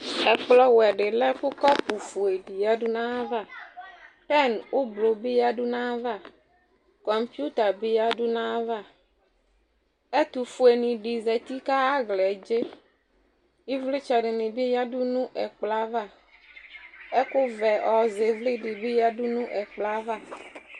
Ɛkplɔwɛdɩ lɛkʋ kɔpʋfue di yǝdu n'ayava , pɛn ʋblʋ bɩ yǝdu n'ayava , kɔŋpɩta bɩ yǝdu n'ayava Ɛtʋfuenɩ dɩ zati k'ayaɣlae dze Ɩvlɩdɩnɩ bɩ yǝdu nʋ ɛkplɔɛ ava, ɛkʋvɛ ɔzɛ ɩvlɩ dɩ bɩ yǝdu nʋ ɛkplɔɛ ava